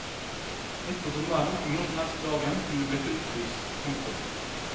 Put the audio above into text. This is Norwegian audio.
Midt på sommeren og når som helst på dagen kunne det bli fullt hus. punktum